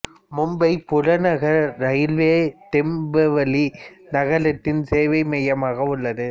மும்பை புறநகர் ரயில்வே டோம்பிவலி நகரத்தின் சேவை மையமாக உள்ளது